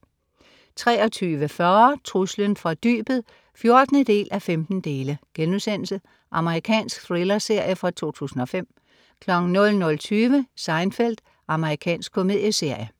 23.40 Truslen fra dybet 14:15.* Amerikansk thrillerserie fra 2005 00.20 Seinfeld. Amerikansk komedieserie